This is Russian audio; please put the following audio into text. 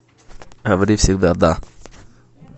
говори всегда да